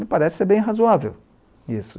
Me parece ser bem razoável isso.